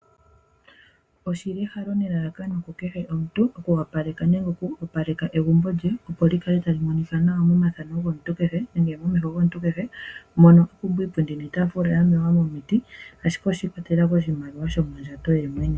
Oshili ehalo nelalakano ku kehe omuntu oku wapaleka nenge oku opaleka egumbo lye opo li kale tali monikwa nawa momathano gomuntu kehe nenge momeho gomuntu kehe, mono lya pumbwa iipundi niitafula yaningwa momiti ashike oshikwatelela koshimaliwa sho mondjato ye mwene.